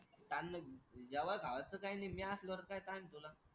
जेवाय खावायचं काय नाही मी असल्यावर काय ताण आहे तुला?